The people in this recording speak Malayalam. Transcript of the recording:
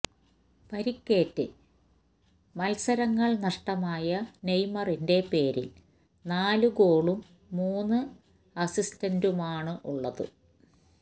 പരിക്കേറ്റ് മത്സങ്ങള് നഷ്ടമായ നെയ്മറിന്റെ പേരില് നാല് ഗോളും മൂന്ന് അസിസ്റ്റുമാണുള്ളത്